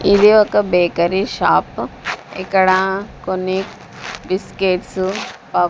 ఇది ఒక bakery shop ఇక్కడ కొన్ని బిస్కెట్స్ ప.